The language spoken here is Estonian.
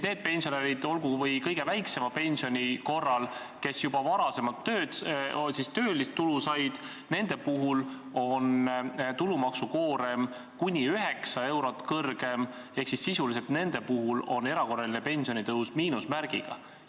Nendel pensionäridel – olgu või kõige väiksema pensioni korral –, kes juba varem töötulu said, on tulumaksukoorem kuni 9 eurot kõrgem ehk sisuliselt on nendel erakorraline pensionitõus miinusmärgiga.